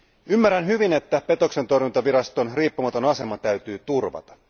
Ymmärrän hyvin, että petoksentorjuntaviraston riippumaton asema täytyy turvata.